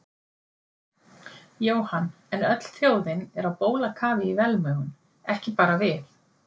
Jóhann, en öll þjóðin er á bólakafi í velmegun, ekki bara við